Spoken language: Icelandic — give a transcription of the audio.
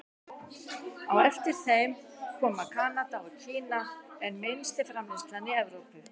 Á eftir þeim koma Kanada og Kína en minnst er framleiðslan í Evrópu.